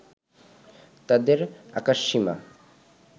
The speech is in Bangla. তাদের আকাশসীমা